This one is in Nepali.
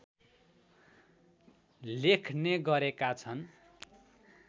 लेख्ने गरेका छन्